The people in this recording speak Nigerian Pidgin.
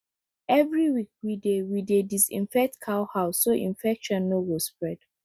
every week we dey we dey disinfect cow house so infection no go spread